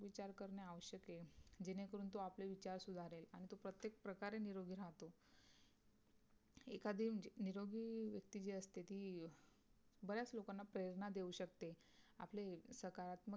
विचार करणे आवश्यक आहे जेणे करून तो आपले विचार सुधारेल आणि तो प्रत्येक प्रकारे निरोगी राहतो एखादी जी निरोगी व्यक्ती जी असते ती बऱ्याच लोकांना प्रेरणा देऊ शकते आपले सकारत्मक विचार